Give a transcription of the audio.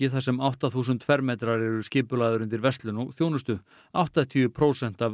þar sem átta þúsund fermetrar eru skipulagðir undir verslun og þjónustu áttatíu prósent af